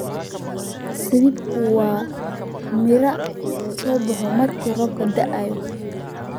zabibka waa miro soo baxa marka roobka da'o.